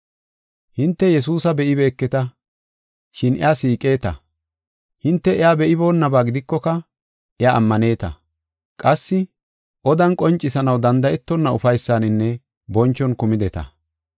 Hinte Yesuusa be7ibeeketa, shin iya siiqeta. Hinte ha77i iya be7iboonaba gidikoka, iya ammaneta. Qassi odan qoncisanaw danda7etonna ufaysaninne bonchon kumideta.